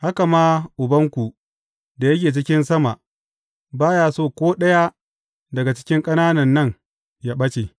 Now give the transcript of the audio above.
Haka ma Ubanku da yake cikin sama ba ya so ko ɗaya daga cikin ƙananan nan yă ɓace.